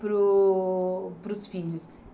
para o para os filhos.